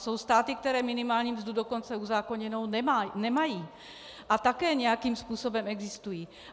Jsou státy, které minimální mzdu dokonce uzákoněnou nemají, a také nějakým způsobem existují.